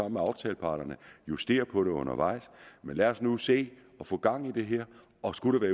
med aftaleparterne justere på det undervejs men lad os nu se at få gang i det her og skulle der